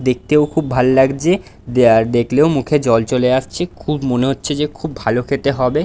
দেখতেও খুব ভাল লাগছে। দে আর দেখলেও মুখে জল চলে আসছে। খুব মনে হচ্ছে যে খুব ভালো খেতে হবে।